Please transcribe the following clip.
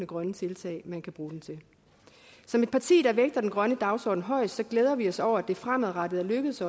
grønne tiltag man kan bruge den til som et parti der vægter den grønne dagsorden højt glæder vi os over at det fremadrettet er lykkedes